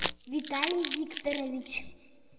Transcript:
виталий викторович